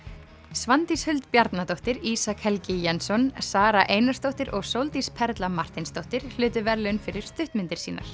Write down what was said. Svandís Huld Bjarnadóttir Ísak Helgi Jensson Sara Einarsdóttir og Sóldís Perla Marteinsdóttir hlutu verðlaun fyrir stuttmyndir sínar